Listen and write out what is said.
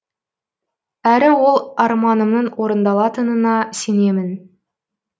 әрі ол арманымның орындалатынына сенемін